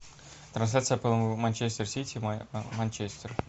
трансляция апл манчестер сити манчестер